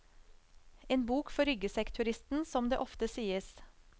En bok for ryggsekkturisten, som det ofte sies.